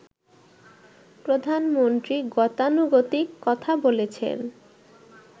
প্রধানমন্ত্রী গতানুগতিক কথা বলেছেন